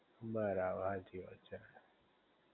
બરાબર હાચી વાત છે